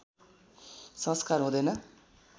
संस्कार हुँदैन